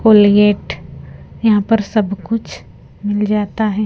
Colgate यहां पर सब कुछ मिल जाता है।